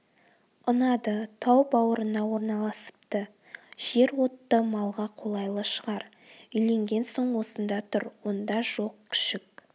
ұнады тау бауырына орналасыпты жер отты малға қолайлы шығар үйленген соң осында тұр онда жоқ күшік